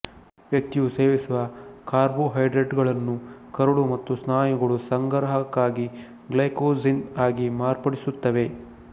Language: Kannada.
ವ್ಯಕ್ತಿಯು ಸೇವಿಸುವ ಕಾರ್ಬೇಹೈಡ್ರೇಟುಗಳನ್ನು ಕರುಳು ಮತ್ತು ಸ್ನಾಯುಗಳು ಸಂಗ್ರಹಕ್ಕಾಗಿ ಗ್ಲೈಕೋಜೆನ್ ಆಗಿ ಮಾರ್ಪಡಿಸುತ್ತವೆ